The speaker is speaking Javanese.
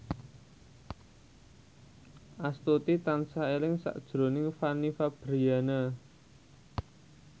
Astuti tansah eling sakjroning Fanny Fabriana